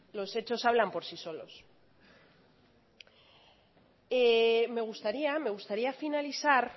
los hechos hablan por sí solos me gustaría finalizar